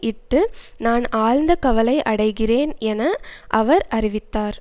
இட்டு நான் ஆழ்ந்த கவலை அடைகிறேன் என அவர் அறிவித்தார்